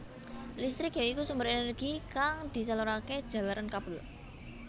Listrik ya iku sumber energi kang disalurake jalaran kabel